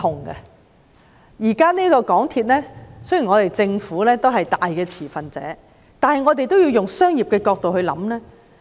雖然政府現時是港鐵公司最大持份者，但我們也要從商業角度來思考。